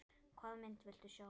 Hvaða mynd viltu sjá?